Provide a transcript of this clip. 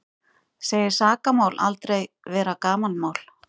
Segir sakamál aldrei vera gamanmál